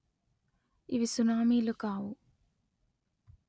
ఇవి సునామీలు కావు